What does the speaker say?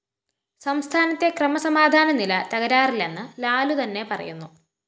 സംസ്ഥാനത്തെ ക്രമസമാധാനനില തകരാറിലെന്ന് ലാലു തന്നെ പറയുന്നു